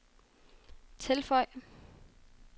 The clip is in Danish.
tilføj